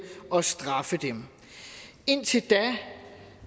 og straffe dem indtil da